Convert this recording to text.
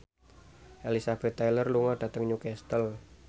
Elizabeth Taylor lunga dhateng Newcastle